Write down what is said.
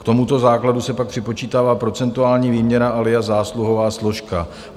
K tomuto základu se pak připočítává procentuální výměra alias zásluhová složka.